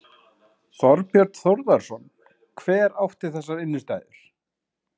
Þorbjörn Þórðarson: Hver átti þessar innstæður?